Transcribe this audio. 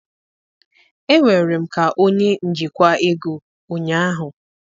Enwere m ka onye njikwa ego ụnyaahụ